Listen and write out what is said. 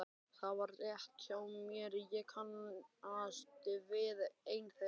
Það var rétt hjá mér, ég kannast við einn þeirra.